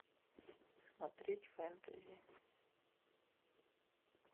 смотреть фэнтези